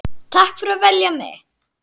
Takk fyrir að velja mig.